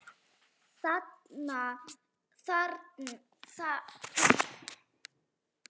Þetta þarna, æpti hún.